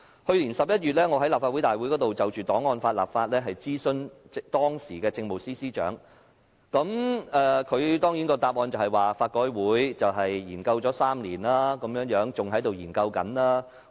去年11月，我在立法會會議上就檔案法的立法質詢當時的政務司司長，她的答覆當然是香港法律改革委員會已研究3年，現時仍在研究中。